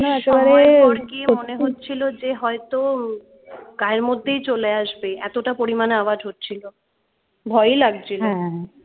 একটা সময়ের পর গিয়ে মনে হচ্ছিলো যে হয়তো গায়ের মধ্যেই চলে আসবে এতটা পরিমান আওয়াজ হচ্ছিলো ভয়ই লাগছিলো